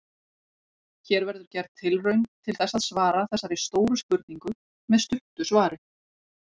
Hér verður gerð tilraun til þess að svara þessari stóru spurningu með stuttu svari.